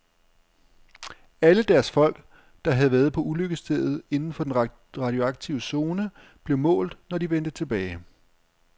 Alle deres folk, der havde været på ulykkesstedet inden for den radioaktive zone, blev målt, når de vendte tilbage.